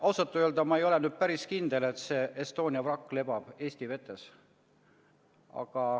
Ma ausalt öeldes ei ole päris kindel, et Estonia vrakk lebab Eesti vetes.